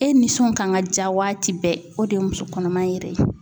E nisɔn kan ka ja waati bɛɛ, o de ye muso kɔnɔma yɛrɛ ye.